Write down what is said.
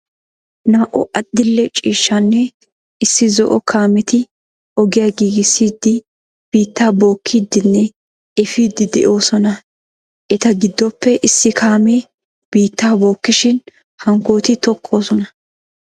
Naa'u adli'e ciishshanne issi zo'o kaametti ogiya giigisside biitta bookkidinne efiide de'osonna. Etta giddoppe issi kaame biitta bokkishin hankkotti tookosonna.